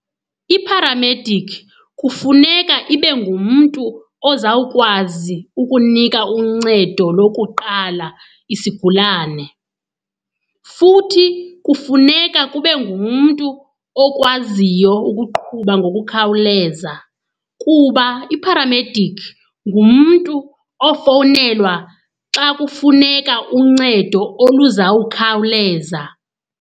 Ipharamedikhi kufuneka ibe ngumntu ozawukwazi ukunika uncedo lokuqala isigulane. Futhi kufuneka kube ngumntu okwaziyo ukuqhuba ngokukhawuleza kuba ipharamedikhi ngumntu ofowunelwa xa kufuneka uncedo oluzawukhawuleza.